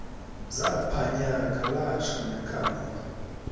zaphanyaka latsho nekamva